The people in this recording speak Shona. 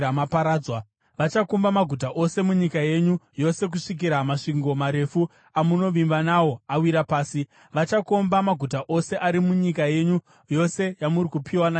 Vachakomba maguta ose munyika yenyu yose kusvikira masvingo marefu amunovimba nawo awira pasi. Vachakomba maguta ose ari munyika yenyu yose yamuri kupiwa naJehovha Mwari wenyu.